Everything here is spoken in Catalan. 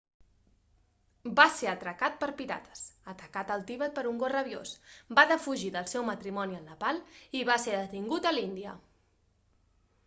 va ser atracat per pirates atacat al tibet per un gos rabiós va defugir del seu matrimoni al nepal i va ser detingut a l'índia